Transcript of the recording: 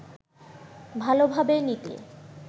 ভালোভাবে নিতে